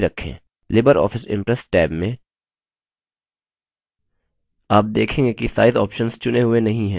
libreoffice impress tab में आप देखेंगे कि size options चुने हुए नहीं हैं या निष्क्रिय हैं